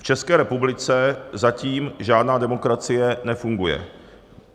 V České republice zatím žádná demokracie nefunguje.